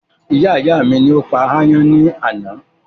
Iyá ìyá mi ni ó pa ayán ní àná